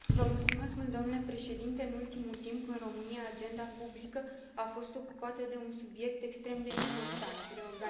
În ultimul timp, în România agenda publică a fost ocupată de un subiect extrem de important reorganizarea administrativă.